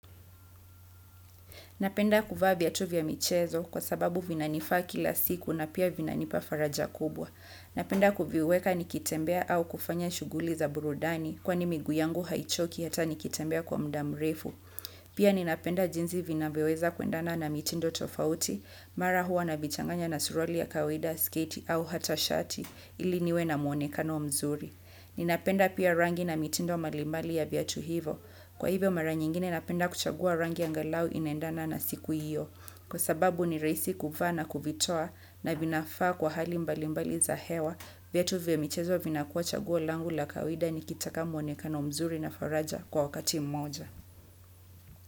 Napenda kuvaa biatu vya michezo kwa sababu vinanifaa kila siku na pia vinanipa faraja kubwa. Napenda kuviweka nikitembea au kufanya shuguli za burudani kwa ni migu yangu haichoki hata nikitembea kwa muda mrefu. Pia ninapenda jinzi vinavyoweza kuendana na mitindo tofauti mara huwa na vichanganya na surwali ya kawaida sketi au hata shati ili niwe na mwonekano mzuri. Ninapenda pia rangi na mitindo malimbali ya viatu hivo. Kwa hivyo mara nyingine napenda kuchagua rangi angalau inaendana na siku hiyo. Kwa sababu ni raisi kuvana kuvitoa na vinafaa kwa hali mbali mbali za hewa viatu vya mchezo vina kuwa chaguo langu la kawida ni kitaka mwonekano mzuri na faraja kwa wakati mmoja.